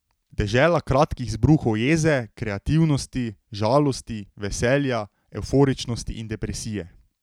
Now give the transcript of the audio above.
Dežela kratkih izbruhov jeze, kreativnosti, žalosti, veselja, evforičnosti in depresije.